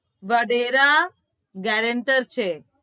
Vadera gerenter છે